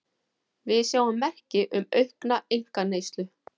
Við sjáum merki um aukna einkaneyslu